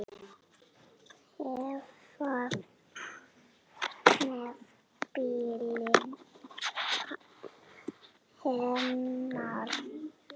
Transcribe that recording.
Hvað með bílinn hennar?